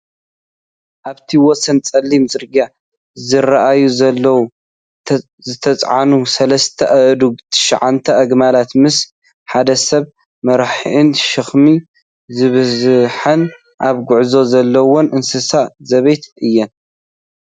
ኣብቲ ወሰን ፀሊም ፅርግያ ዝረኣያ ዘለዋ ዝተፃዕና ሰለስተ አእዱግን ትሻዓተ ኣግማልን ምስ ሓደ ሰብ መራሒአን ሸክሚ ዝበዝሐንን ኣብ ጉዕዞ ዘለዋን እንስሳ ዘቤት እየን፡፡